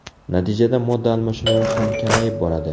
Natijada modda almashinuvi ham kamayib boradi.